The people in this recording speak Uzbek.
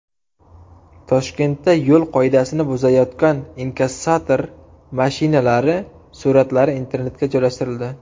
Toshkentda yo‘l qoidasini buzayotgan inkassator mashinalari suratlari internetga joylashtirildi.